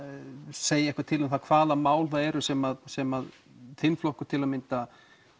segja eitthvað til um hvaða mál það eru sem sem þinn flokkur til að mynda